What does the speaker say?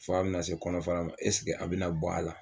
F'a bina se kɔnɔ fara a bina bɔ a la